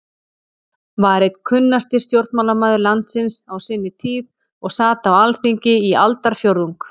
var einn kunnasti stjórnmálamaður landsins á sinni tíð og sat á Alþingi í aldarfjórðung.